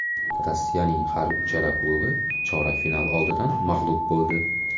Rossiyaning har uchala klubi chorak final oldidan mag‘lub bo‘ldi.